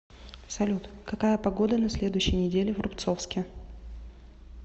салют какая погода на следующей неделе в рубцовске